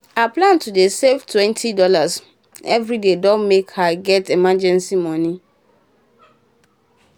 her plan to dey save twenty dollars everyday don um make her um get emergency money.